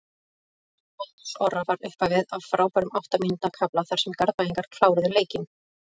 Mark Halldórs Orra var upphafið af frábærum átta mínútna kafla þar sem Garðbæingarnir kláruðu leikinn.